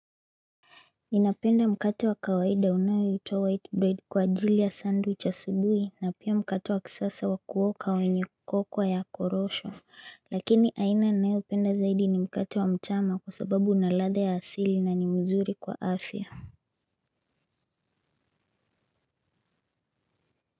Ninapenda mkate wa kawaida unaoitwa white bread kwa ajili ya sandwich asubuhi na pia mkate wa kisasa wakuoka wenye cocoa ya korosho lakini aina ninayopenda zaidi ni mkate wa mchama kwa sababu una ladha ya asili na ni mzuri kwa afya.